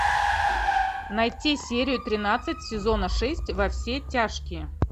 найти серию тринадцать сезона шесть во все тяжкие